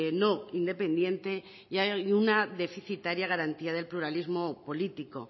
no independiente y hay una deficitaria garantía del pluralismo político